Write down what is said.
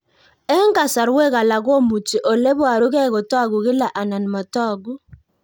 Eng'kasarwek alak komuchi ole parukei kotag'u kila anan matag'u